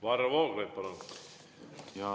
Varro Vooglaid, palun!